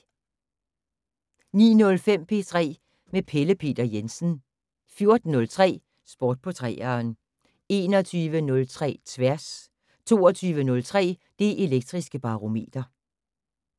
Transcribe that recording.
09:05: P3 med Pelle Peter Jensen 14:03: Sport på 3'eren 21:03: Tværs 22:03: Det Elektriske Barometer